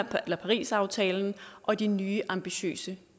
parisaftalen og de nye ambitiøse